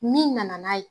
Min nana n'a ye